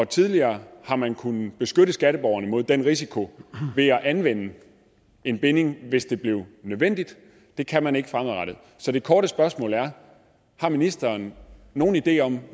tidligere har man kunnet beskytte skatteborgerne mod den risiko ved at anvende en binding hvis det blev nødvendigt det kan man ikke fremadrettet så det korte spørgsmål er har ministeren nogen idé om